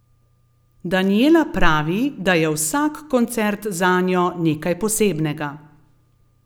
Danijela pravi, da je vsak koncert zanjo nekaj posebnega.